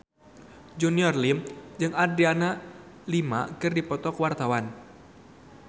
Junior Liem jeung Adriana Lima keur dipoto ku wartawan